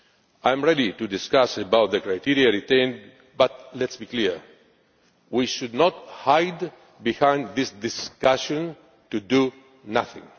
I am ready to discuss the criteria retained but, let us be clear, we should not hide behind this discussion to do nothing.